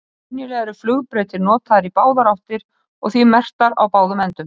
Venjulega eru flugbrautir notaðar í báðar áttir og því merktar á báðum endum.